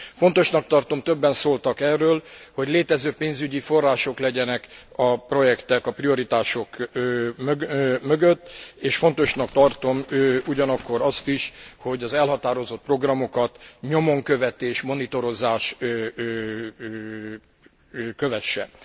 Fontosnak tartom többen szóltak erről hogy létező pénzügyi források legyenek a projektek, a prioritások mögött, és fontosnak tartom ugyanakkor azt is, hogy az elhatározott programokat nyomon követés, monitorozás kövesse.